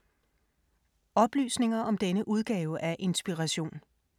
Oplysninger om denne udgave af Inspiration